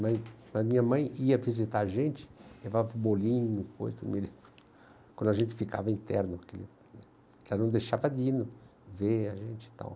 Mas minha mãe ia visitar a gente, levava bolinho, coisa do meio, quando a gente ficava interno, entendeu, né, que ela não deixava ver a gente e tal.